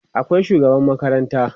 akwai shugaban makaranta